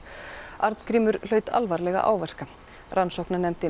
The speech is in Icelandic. Arngrímur hlaut alvarlega áverka rannsóknarnefndin